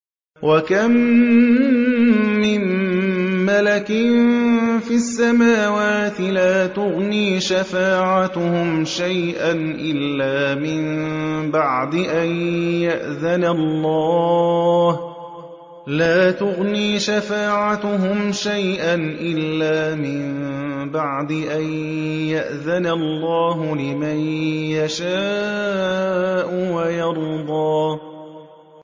۞ وَكَم مِّن مَّلَكٍ فِي السَّمَاوَاتِ لَا تُغْنِي شَفَاعَتُهُمْ شَيْئًا إِلَّا مِن بَعْدِ أَن يَأْذَنَ اللَّهُ لِمَن يَشَاءُ وَيَرْضَىٰ